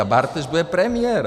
A Bartoš bude premiér.